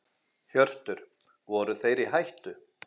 Hjörtur: Voru þeir í hættu?